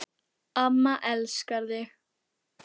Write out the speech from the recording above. Amma elskar þig